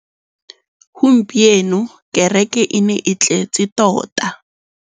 Gompieno kêrêkê e ne e tletse tota.